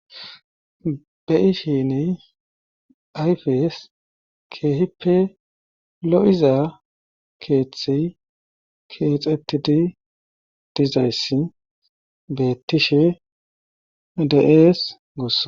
Beyishini ayfes keehippe lo'iza keeththi keexettidi dizayss bettishe deees gossa.